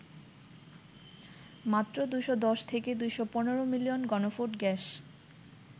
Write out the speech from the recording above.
মাত্র ২১০ থেকে ২১৫ মিলিয়ন ঘনফুট গ্যাস